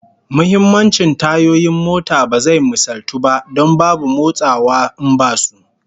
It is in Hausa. Muhimmancin tayoyin mota ba zai misaltu ba, don babu motsawa in basu